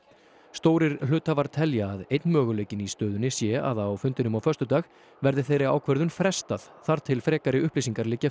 stórir hluthafar telja að einn möguleikinn í stöðunni sé að á fundinum á föstudag verði þeirri ákvörðun frestað þar til frekari upplýsingar liggja